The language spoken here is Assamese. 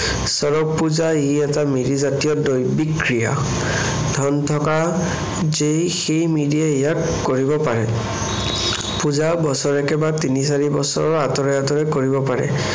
চৰগ পূজা, ই এটা মিৰি জাতীয় দৈবিক ক্ৰিয়া। ধন থকা যেই সেই মিৰিয়ে ইয়াক কৰিব পাৰে। পূজা বছৰেকে বা তিনি-চাৰি বছৰৰ আঁতৰে আঁতৰে কৰিব পাৰে।